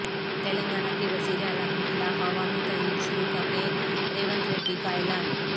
تلنگانہ کے وزیراعلی کے خلاف عوامی تحریک شروع کرنے ریونت ریڈی کا اعلان